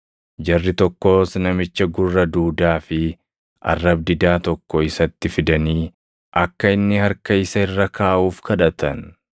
Jarri tokkos namicha gurra duudaa fi arrab-didaa tokko isatti fidanii akka inni harka isa irra kaaʼuuf kadhatan.